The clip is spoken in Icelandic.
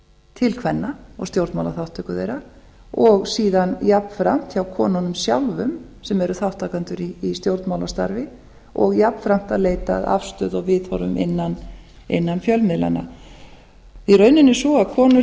til kvenna og stjórnmálaþátttöku þeirra og síðan jafnframt hjá konunum sjálfum sem eru þátttakendur í stjórnmálastarfi og jafnframt að leita að afstöðu og viðhorfum innan fjölmiðlanna raunin er sú að konur